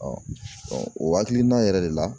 o hakilina yɛrɛ de la.